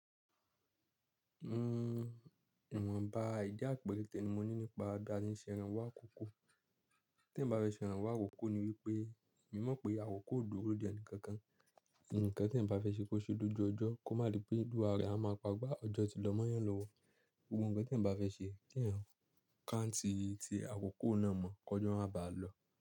N o, ìwọ̀n ba àìdíà perete ni mo ní nípa bà tí ń ṣe ẹran wá àkókò. Tí ẹ̀ bá fẹ́ ṣe ẹran wá àkókò ni wípé, mo mọ̀ pé àwòkò ò duro de ẹni kankan. Ǹnìkan tí ẹ̀ bá fẹ́ ṣe kó ṣe lójú ọjọ́, kó má di pé ìlú ààrẹ a máa pagbá ọjọ́ tí lọ mọ́yàn lọ́wọ́. Gbogbo ǹkan tí ẹ̀ bá fẹ́ ṣe, tí ẹ̀ rán káǹtì tí àkókò náà mọ̀, kọjọ́ a máa ba lọ.